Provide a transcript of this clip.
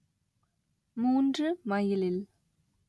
மூன்று மைலில்